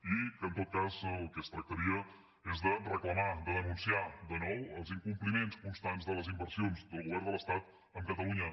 i que en tot cas del que es tractaria és de reclamar de denunciar de nou els incompliments constants de les inversions del govern de l’estat amb catalunya